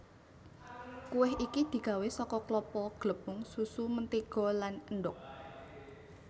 Kuweh iki digawé saka klapa glepung susu mentega lan endhog